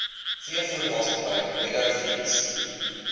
veevoermaatskappy meadow feeds